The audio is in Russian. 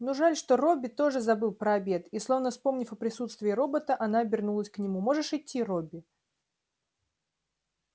ну жаль что робби тоже забыл про обед и словно вспомнив о присутствии робота она обернулась к нему можешь идти робби